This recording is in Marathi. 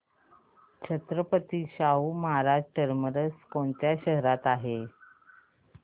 छत्रपती शाहू महाराज टर्मिनस कोणत्या शहरात आहे